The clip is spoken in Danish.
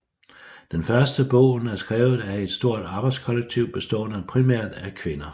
Den første bogen er skrevet af et stort arbejdskollektiv bestående primært af kvinder